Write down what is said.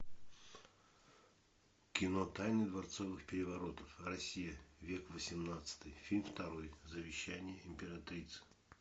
кино тайны дворцовых переворотов россия век восемнадцатый фильм второй завещание императрицы